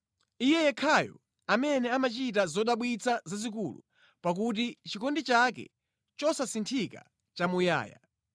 Iye yekhayo amene amachita zodabwitsa zazikulu, pakuti chikondi chake chosasinthika nʼchamuyaya.